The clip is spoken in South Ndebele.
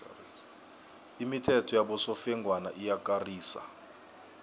imithetho yabosofengwana iyakarisa